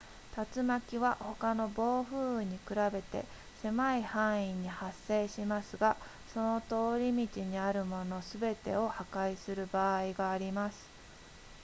竜巻は他の暴風雨に比べて狭い範囲に発生しますがその通り道にあるものすべてを破壊する場合があります